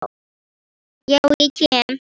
Þá kem ég